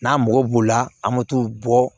N'a mago b'o la an be t'o bɔ